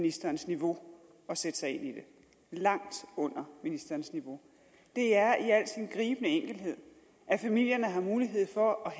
ministerens niveau at sætte sig ind i det langt under ministerens niveau det er i al sin gribende enkelhed at familierne har mulighed for at